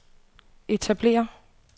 etablere